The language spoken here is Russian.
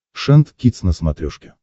шант кидс на смотрешке